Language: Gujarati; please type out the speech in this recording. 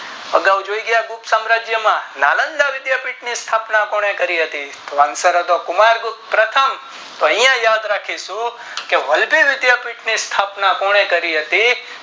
અગાઉ આ ગુપ્ત સેમ રાજ્ય માં નાલંદા વિધાપીઠ ની સ્થાપના કોને કરી હતી તો કુમાર ગુપ્ત પ્રથમ તો એ યાદરાખીશું કે વલ્લભી વિધાપીઠ ની સ્થાપના કોને કરી હતી